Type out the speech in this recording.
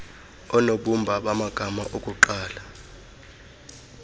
oonobumba bamagama okuqala